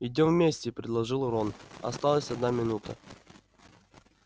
идём вместе предложил рон осталась одна минута